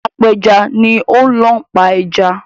Apẹja ni ó ń lọ pa ẹja.